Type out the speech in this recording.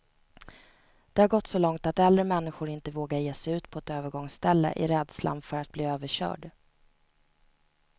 Det har gått så långt att äldre människor inte vågar ge sig ut på ett övergångsställe, i rädslan för att bli överkörd.